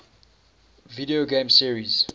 video game series